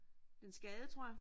Det en skade tror jeg